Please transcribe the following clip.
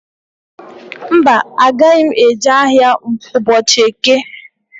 Mba, agaghị m eje ahịa ụbọchị eke.